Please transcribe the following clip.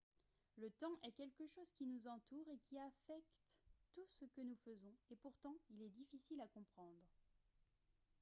le temps est quelque chose qui nous entoure et qui affecte tout ce que nous faisons et pourtant il est difficile à comprendre